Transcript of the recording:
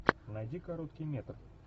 найди короткий метр